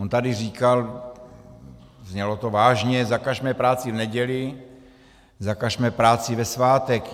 On tady říkal, znělo to vážně, zakažme práci v neděli, zakažme práci ve svátek.